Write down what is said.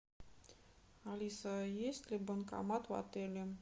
алиса есть ли банкомат в отеле